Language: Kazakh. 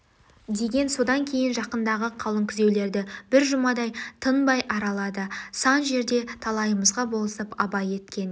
деген содан кейін жақындағы қалың күзеулерді бір жүмадай тынбай аралады сан жерде талайымызға болысып абай еткен